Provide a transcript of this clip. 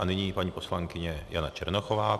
A nyní paní poslankyně Jana Černochová.